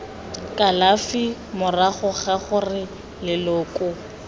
kalafi morago ga gore leloko